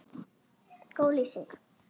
Góð lýsing?